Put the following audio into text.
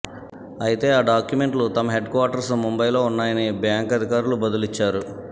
అయితే ఆ డాక్యుమెంట్లు తమ హెడ్ క్వార్టర్ ముంబైలో ఉన్నాయని బ్యాంక్ అధికారులు బదులిచ్చారు